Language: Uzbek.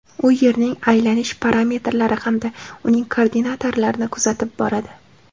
U Yerning aylanish parametrlari hamda uning koordinatalarini kuzatib boradi.